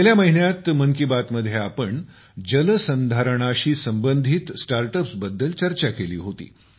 गेल्या महिन्यात मन की बात मध्ये आम्ही जलसंधारणाशी संबंधित स्टार्ट अप्सबद्दल चर्चा केली होती